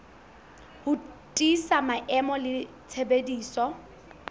ho tiisa maemo le tshebediso